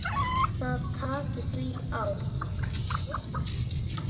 Það taki því á.